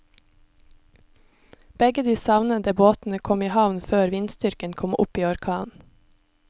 Begge de savnede båtene kom i havn før vindstyrken kom opp i orkan.